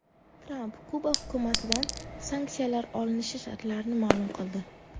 Tramp Kuba hukumatidan sanksiyalar olinishi shartlarini ma’lum qildi.